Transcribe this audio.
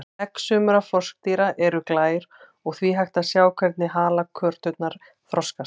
Egg sumra froskdýra eru glær og því hægt að sjá hvernig halakörturnar þroskast.